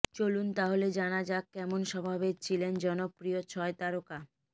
চলুন তাহলে জানা যাক কেমন স্বভাবের ছিলেন জনপ্রিয় ছয় তারকা